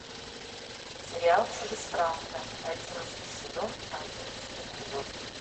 сериал чужестранка одиннадцатый сезон одиннадцатый эпизод